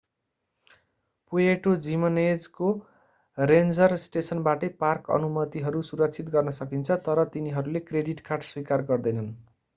Puerto जिमनेजको ranger स्टेसनबाटै park अनुमतिहरू सुरक्षित गर्न सकिन्छ तर तिनीहरूले क्रेडिट कार्ड स्वीकार गर्दैनन्